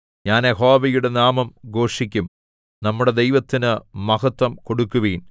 ഞാൻ യഹോവയുടെ നാമം ഘോഷിക്കും നമ്മുടെ ദൈവത്തിന് മഹത്വം കൊടുക്കുവിൻ